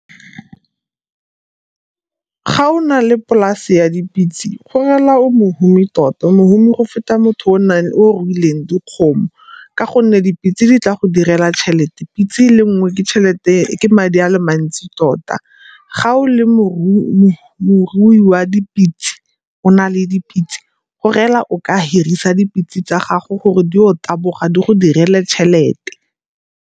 Ga o na le polase ya dipitse go rela o mohumi tota, o mohumi go feta motho o o ruileng dikgomo ka gonne dipitse di tla go direla tšhelete. Pitse le nngwe ke madi a le mantsi tota. Ga o le morui wa dipitse o na le dipitse go rela o ka hirisa dipitse tsa gago gore diye go taboga di go direle tšhelete.